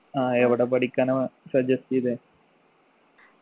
ആ എവിടെ പഠിക്കാനാ suggest എയ്തേ